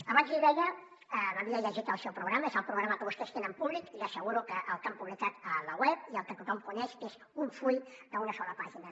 abans li deia que m’havia llegit el seu programa és el programa que vostès tenen públic i li asseguro que el que han publicat a la web i el que tothom coneix que és un full d’una sola pàgina